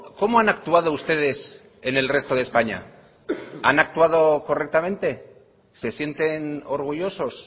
cómo han actuado ustedes en el resto de españa han actuado correctamente se sienten orgullosos